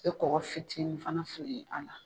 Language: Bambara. I bɛ kɔgɔ fitinin fana fili a la.